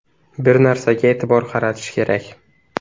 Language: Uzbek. Bir narsaga e’tibor qaratish kerak.